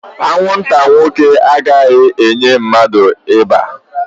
Anwụnta nwoke agaghị enye mmadụ ịba